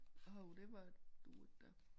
Åh det var dur ikke da